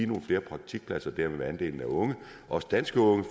nogle flere praktikpladser vil andelen af unge også danske unge